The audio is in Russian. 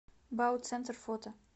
бауцентр фото